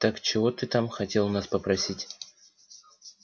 так чего ты там хотел у нас попросить